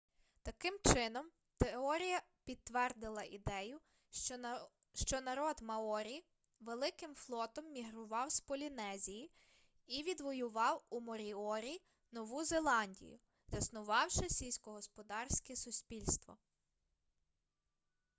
таким чином теорія підтвердила ідею що народ маорі великим флотом мігрував з полінезії і відвоював у моріорі нову зеландію заснувавши сільськогосподарське суспільство